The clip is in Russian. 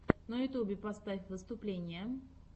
на ютубе поставь выступления